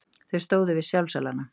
Þau stóðu við sjálfsalana.